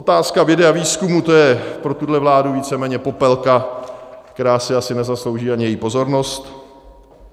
Otázka vědy a výzkumu, to je pro tuhle vládu víceméně popelka, která si asi nezaslouží ani její pozornost.